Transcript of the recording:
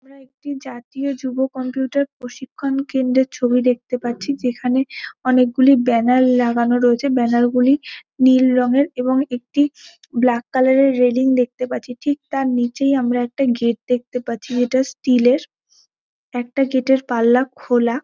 আমরা একটি জাতীয় যুব কম্পিউটার প্রশিক্ষণ কেন্দ্রের ছবি দেখতে পাচ্ছি। যেখানে অনেকগুলি ব্যানার লাগানো রয়েছে। ব্যানার গুলি নীল রঙের এবং একটি ব্ল্যাক কালার এর। রেলিং দেখতে পাচ্ছি। ঠিক তার নিচেই আমরা একটা গেট দেখতে পাচ্ছি যেটা স্টিল এর। একটা গেট এর পাল্লা খোলা।